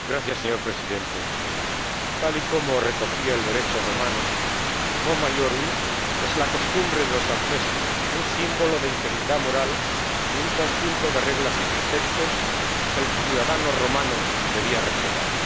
Señor Presidente, tal como y recogía el Derecho romano, el es la costumbre de los ancestros, un símbolo de integridad moral y un conjunto de reglas y preceptos que el ciudadano romano debía respetar.